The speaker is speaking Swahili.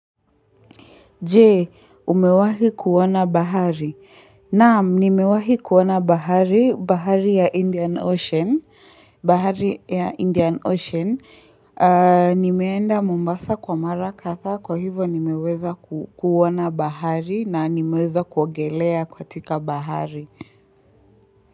Je, umewahi kuona bahari? Naam, nimewahi kuona bahari, bahari ya Indian Ocean bahari ya Indian Ocean. Nimeenda Mombasa kwa Mara kadhaa kwa hivo nimeweza kuona bahari na nimeweza kuogelea katika bahari.